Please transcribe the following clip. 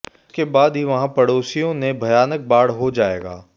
उसके बाद ही वहां पड़ोसियों ने भयानक बाढ़ हो जाएगा